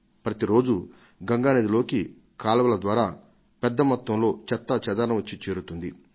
ప్రతి రోజూ గంగా నదిలోకి కాల్వల ద్వారా పెద్ద మొత్తంలో చెత్తాచెదారం వచ్చి చేరుతుంది